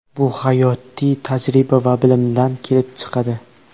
Bu hayotiy tajriba va bilimdan kelib chiqadi.